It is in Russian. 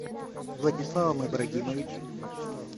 владиславом ибрагимовичем